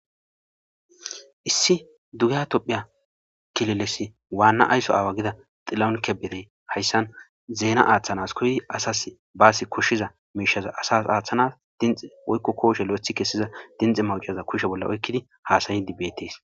issi dugya tophiya kileles waanna ayso aawa gida xilaun kebeye hayssan zeena aaththanas koydi asas baasi koshshiza miishaza asas aaththanas dinxe woykko kooshe lo'ethi kessiza dinxe mawocaza kushe bolla oykkidi haasayidi beetees